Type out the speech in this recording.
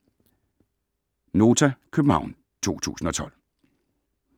(c) Nota, København 2012